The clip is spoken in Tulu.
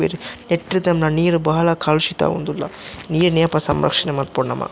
ನೆಟ್ಟ್ ತೂನ್ನ ನೀರ್ ಬಾಳ ಕಲುಷಿತ ಆವೊಂದುಲ್ಲ ನೀರುನು ಯಾಪ ಸಂರಕ್ಷಣ ಮನ್ಪೊಡು ನಮ.